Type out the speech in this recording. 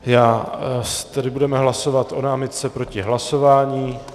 Tedy budeme hlasovat o námitce proti hlasování.